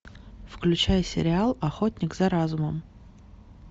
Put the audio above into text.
включай сериал охотник за разумом